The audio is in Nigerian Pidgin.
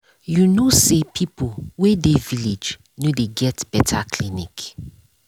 you know say people way dey village no dey get better clinic